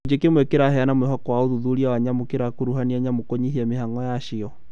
Gũcigo kĩmwe kĩraheana mwĩhoko wa ũthuthuria wa nyamu kĩrakuruhania nyamũ kũnyihia mihang'o yacio